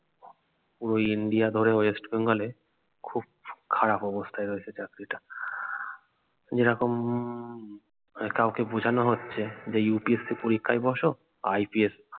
পুরো ইন্ডিয়া ধরে ওয়েস্ট বেঙ্গলে খুব খারাপ অবস্থায় রয়েছে চাকরিটা যেরকম হম কাউকে বুঝানো হচ্ছে যে UPSC পরীক্ষায় বসো IPS